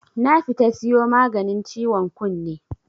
nafita siyo maganin ciwon kunne.